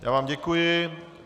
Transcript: Já vám děkuji.